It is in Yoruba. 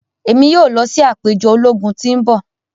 Emi yoo lọ si apejọ ologun ti n bọ.